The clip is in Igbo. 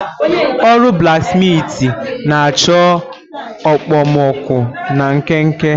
Ọrụ blaksmitị na-achọ okpomọkụ na nkenke.